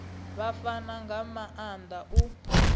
vha fana nga maanda u